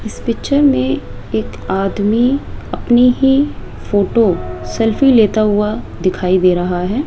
इस पिक्चर में एक आदमी अपनी ही फोटो सेल्फी लेता हुआ दिखाई दे रहा है।